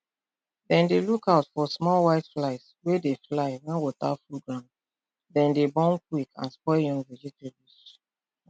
dem dey look out for small white flies wey dey fly when water full grounddem dey born quick and spoil young vegetables